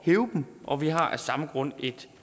hæve dem og vi har af samme grund et